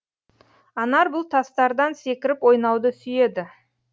анар бұл тастардан секіріп ойнауды сүйеді